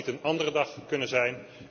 Had dat niet een andere dag kunnen zijn?